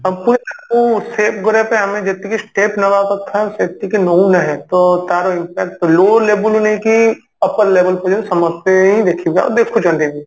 suppose ଆକୁ save କରିବା ପାଇଁ ଆମେ ଯେତିକି step ନବା କଥା ସେତିକି ନଉ ନାହେଁ ତ ତାର impact low level ରୁ ନେଇକି upper level ପର୍ଯ୍ୟନ୍ତ ସମସ୍ତେ ହିଁ ଦେଖିବା ଆଉ ଦେଖୁଛନ୍ତି ବି